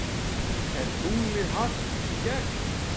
Er tunglið hart í gegn?